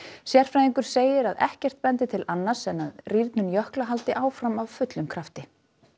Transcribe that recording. sérfræðingur segir að ekkert bendi til annars en að rýrnun jökla haldi áfram af fullum krafti